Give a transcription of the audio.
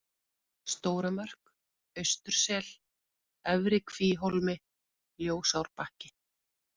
Stóra Mörk, Austursel, Efri-Kvíhólmi, Ljósárbakki